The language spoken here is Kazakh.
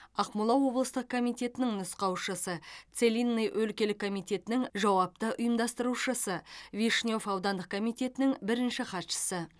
ақмола облыстық комитетінің нұсқаушысы целинный өлкелік комитетінің жауапты ұйымдастырушысы вишнев аудандық комитетінің бірінші хатшысы